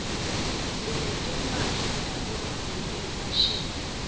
sinetimphahla tabomake tefashini